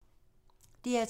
DR2